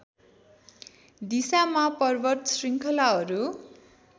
दिशामा पर्वत शृङ्खलाहरू